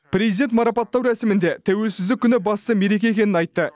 президент марапаттау рәсімінде тәуелсіздік күні басты мереке екенін айтты